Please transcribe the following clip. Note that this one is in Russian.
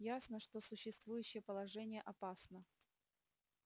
ясно что существующее положение опасно